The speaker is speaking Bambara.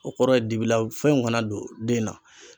O kɔrɔ ye dibila fɛnw kana don den na.